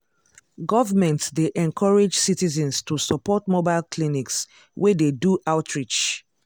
government dey encourage citizens to support mobile clinics wey dey do outreach.